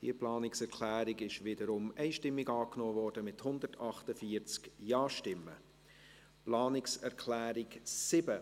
Sie haben die Planungserklärung 6 einstimmig angenommen, mit 148 Ja- gegen 0 NeinStimmen bei 0 Enthaltungen.